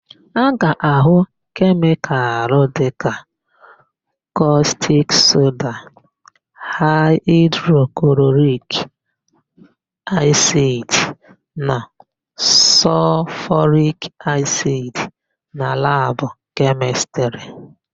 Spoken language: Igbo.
A ga-ahụ kemịkalụ dịka kọstik soda, haịdroklorik asidi na sọlfọrik asidi na labụ Kemịstrị.